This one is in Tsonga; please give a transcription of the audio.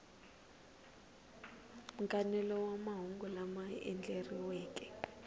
nkanelo wa mahungu lama andlariweke